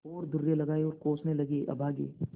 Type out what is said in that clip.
और दुर्रे लगाये और कोसने लगेअभागे